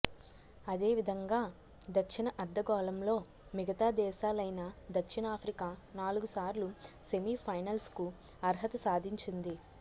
అదే విధంగా దక్షిణ అర్ధగోళంలో మిగతా దేశాలైన దక్షిణాఫ్రికా నాలుగు సార్లు సెమీ ఫైనల్స్కు అర్హత సాధించింది